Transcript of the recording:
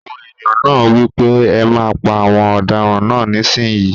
Àwọn èèyàn náà wí pé ẹ má pa àwọn ọ̀daràn náà nísìínyi!